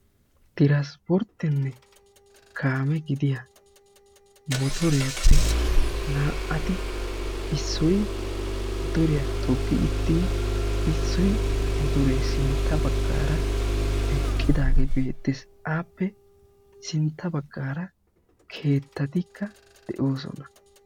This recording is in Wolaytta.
Transpporttenne Kaame gidiya motoriyaappe naa"ati issoy motoriyaa toggi uttin issoy motoreppe sintta baggara eqqidaage beettees, appe sinttaa baggara keettatikka de'oosona